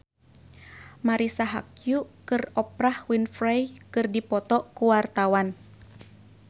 Marisa Haque jeung Oprah Winfrey keur dipoto ku wartawan